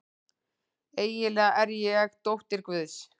Eiginlega er ég dóttir guðs.